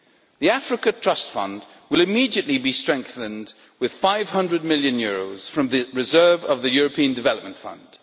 The Africa Trust Fund will immediately be strengthened with EUR 500 million from the reserve of the European Development Fund.